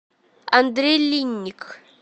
андрей линник